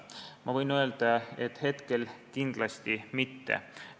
Ma võin öelda, et hetkel kindlasti mitte.